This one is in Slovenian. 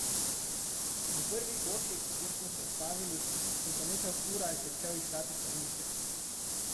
V prvi koči, kjer smo se ustavili, sem po nekaj urah začel iskati stranišče.